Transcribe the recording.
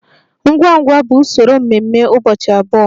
Ngwa ngwa bụ usoro mmemme ụbọchị abụọ.